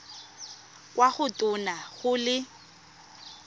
kwa go tona go le